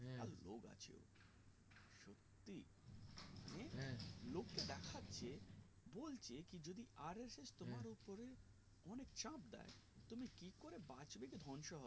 লোক কে দেখাচ্ছে বলছে কি যদি RSS তোমার উপরে অনেক চাপ দেয় তুমি কি করে বাক্যে কি ধ্বংস হবে